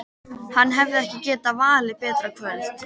Hann hefði ekki getað valið betra kvöld.